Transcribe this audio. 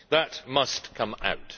That must come out.